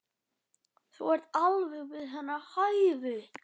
Þú ert alveg við hennar hæfi.